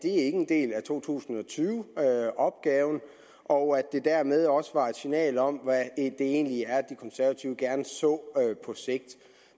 er en del af to tusind og tyve opgaven og at det dermed også var et signal om hvad det egentlig er de konservative gerne så på sigt